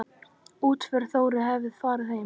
Útför Þóru hefur farið fram.